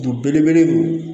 Belebele don